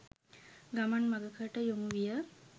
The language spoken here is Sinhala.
ගමන් මගකට යොමු විය.